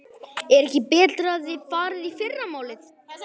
Er ekki betra að þið farið í fyrramálið?